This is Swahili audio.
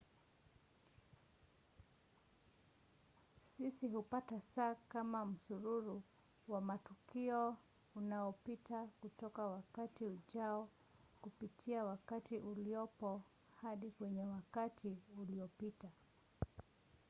sisi hupata saa kama msururu wa matukio unaopita kutoka wakati ujao kupitia wakati uliopo hadi kwenye wakati uliopita